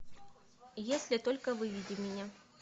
если только выведи меня